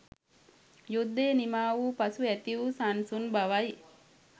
යුද්ධය නිමාවූ පසු ඇති වු සන්සුන් බවයි